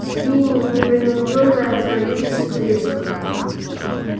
свиньи непринуждённо развалились в креслах